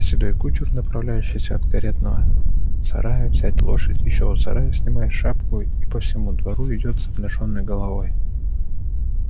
седой кучер направляющийся от каретного сарая взять лошадь ещё у сарая снимает шапку и по всему двору идёт с обнажённой головой